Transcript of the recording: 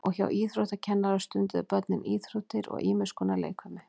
Og hjá íþróttakennara stunduðu börnin íþróttir og ýmis konar leikfimi.